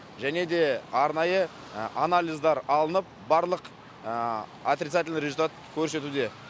және де арнайы анализдар алынып барлық отрицательный результат көрсетуде